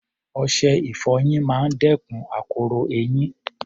Ọṣẹ-ìfọyín máa ń dẹ́kun akoro eyín